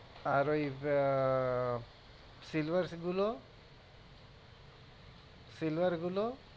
আর ওই আহ silver গুলো silver গুলো